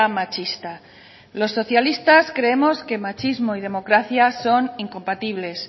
machista los socialistas creemos que machismo y democracia son incompatibles